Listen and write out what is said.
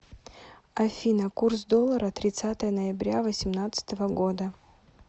афина курс доллара тридцатое ноября восемнадцатого года